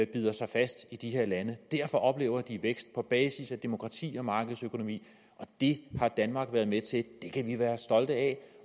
bider sig fast i de her lande derfor oplever de vækst altså på basis af demokrati og markedsøkonomi det har danmark været med til og det kan vi være stolte af